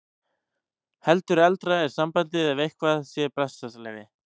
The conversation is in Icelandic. Heldur eldra er sambandið að eitthvað sé bessaleyfi.